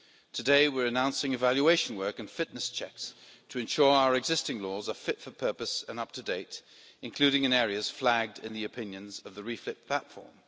Today we are announcing evaluation work and fitness checks to ensure our existing laws are fit for purpose and up to date, including in areas flagged in the opinions of the REFIT platform.